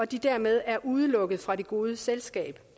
de dermed er udelukket fra det gode selskab